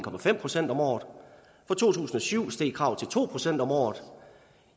procent om året fra to tusind og syv steg kravet til to procent om året